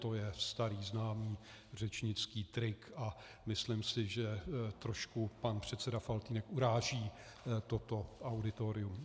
To je starý známý řečnický trik a myslím si, že trošku pan předseda Faltýnek uráží toto auditorium.